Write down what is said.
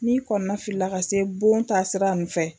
N'i kɔnɔna filila ka se bon ta sira nin fɛ